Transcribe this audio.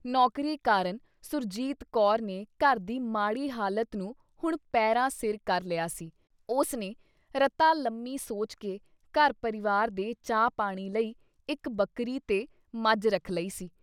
ਨੌਕਰੀ ਕਾਰਨ ਸੁਰਜੀਤ ਕੌਰ ਨੇ ਘਰ ਦੀ ਮਾੜੀ ਹਾਲਤ ਨੂੰ ਹੁਣ ਪੈਰਾਂ ਸਿਰ ਕਰ ਲਿਆ ਸੀ, ਉਸਨੇ ਰਤਾ ਲੰਮੀ ਸੋਚ ਕੇ ਘਰ ਪਰਿਵਾਰ ਦੇ ਚਾਹ ਪਾਣੀ ਲਈ ਇੱਕ- ਬੱਕਰੀ ਤੇ ਮੱਝ ਰੱਖ ਲਈ ਸੀ ।